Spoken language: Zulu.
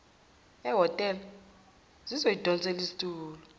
ehhotela ngizoyidonsela isitulo